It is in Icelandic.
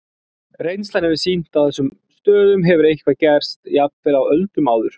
Reynslan hefur kannski sýnt að á þessum stöðum hefur eitthvað gerst, jafnvel á öldum áður.